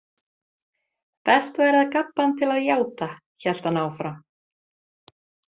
Best væri að gabba hann til að játa, hélt hann áfram.